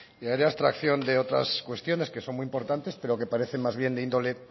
y haré abstracción de otras cuestiones que son muy importantes pero que parecen más bien de índole